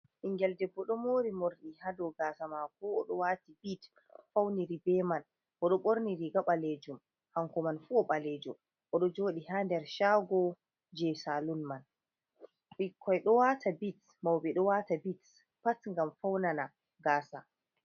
Bingel debbo do mori mordi hado gasa mako. Odo waati bit fauniri be man. odo borni riga balejum, hanko man fu obalejo. Odo jodi ha nder shago je saloon man. bikkoi do wata bit, maube do wata bits pat ngam faunana gasa.